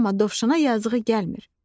Amma dovşana yazığı gəlmir.